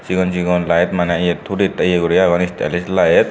sigon sigon light mane yot hudid ye guri agon stylish light.